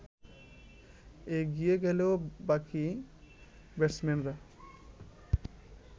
এগিয়ে গেলেও বাকি ব্যাটসম্যানরা